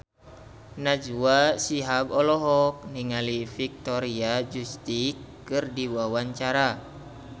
Najwa Shihab olohok ningali Victoria Justice keur diwawancara